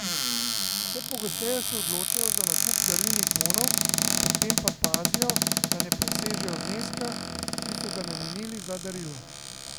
Vse pogosteje se odločajo za nakup darilnih bonov, pri tem pa pazijo, da ne presežejo zneska, ki so ga namenili za darilo.